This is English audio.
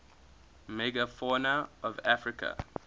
megafauna of africa